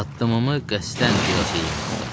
Addımımı qəsdən biraz yeyinlətdim.